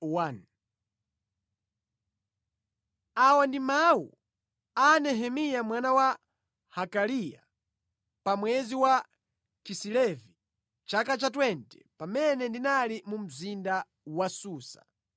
Awa ndi mawu a Nehemiya mwana wa Hakaliya: Pa mwezi wa Kisilevi, chaka cha makumi awiri, pamene ndinali mu mzinda wa Susa,